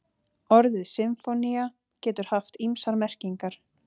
Orðið sinfónía getur haft ýmsar merkingar.